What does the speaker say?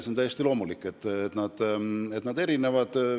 On täiesti loomulik, et need erinevad.